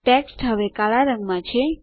text હવે કાળા રંગમાં છે